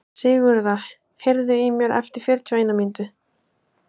Sigurða, heyrðu í mér eftir fjörutíu og eina mínútur.